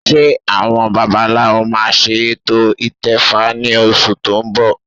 Ṣé àwọn babaláwo máa ṣe ètò ìtẹfa ní oṣù tó ń bọ̀?